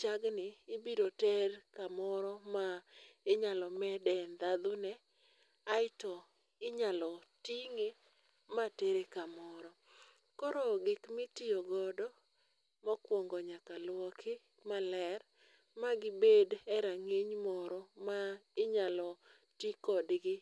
chagni ibiro ter kamoro ma inyalo med e ndhadhune. Aeto inyalo ting'e matere ka moro. Koro gik mitiyogodo mokwongo nyaka lwoki maler magi bed e rang'iny moro ma inyalo ti kodgi,